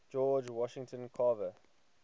george washington carver